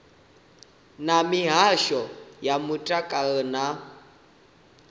na mihasho ya mutakalo na